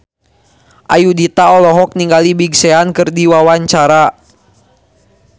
Ayudhita olohok ningali Big Sean keur diwawancara